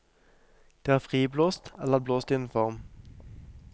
Det er friblåst, eller blåst i en form.